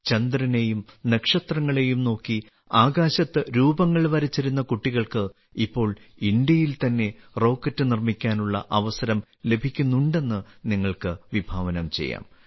ചന്ദ്രനെയും നക്ഷത്രങ്ങളെയും നോക്കി ആകാശത്ത് രൂപങ്ങൾ വരച്ചിരുന്ന കുട്ടികൾക്ക് ഇപ്പോൾ ഇന്ത്യയിൽ തന്നെ റോക്കറ്റ് നിർമ്മിക്കാനുള്ള അവസരം ലഭിക്കുന്നുണ്ടെന്ന് നിങ്ങൾക്ക് വിഭാവനം ചെയ്യാം